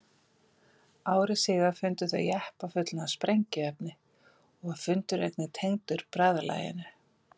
Ári síðar fundu þau jeppa fullan af sprengiefni og var fundurinn einnig tengdur bræðralaginu.